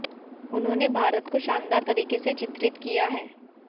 उन्होंने भारत को शानदार तरीके से चित्रित किया है